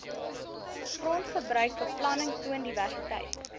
grondgebruikbeplanning toon diversiteit